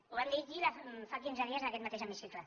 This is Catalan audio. ho vam dir aquí fa quinze dies en aquest mateix hemicicle